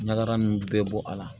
Ɲagara ninnu bɛɛ bɔ a la